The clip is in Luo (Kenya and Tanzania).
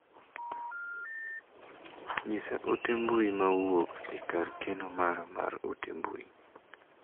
Nyisa ote mbui ma owuok e kar keno mara mar ote mbui.